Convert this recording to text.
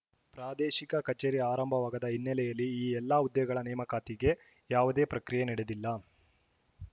ಪ್ರಾದೇಶಿಕ ಕಚೇರಿ ಆರಂಭವಾಗದ ಹಿನ್ನೆಲೆಯಲ್ಲಿ ಈ ಎಲ್ಲ ಹುದ್ದೆಗಳ ನೇಮಕಾತಿಗೆ ಯಾವುದೇ ಪ್ರಕ್ರಿಯೆ ನಡೆದಿಲ್ಲ